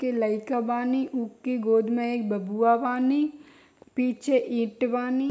के लइका बानी ऊके गोद में एक बबुआ बानी पीछे ईंट बानी।